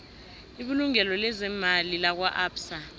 ibulungo leemali lakwaabsa